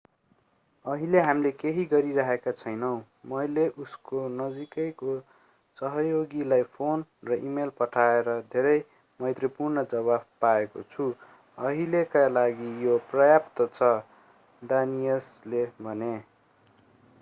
अहिले हामी केही गरिरहेका छैनौं मैले उसको नजिकैको सहयोगीलाई फोन र इमेल पठाएर धेरै मैत्रीपूर्ण जवाफ पाएको छु अहिलेका लागि यो पर्याप्त छ डानियसले भने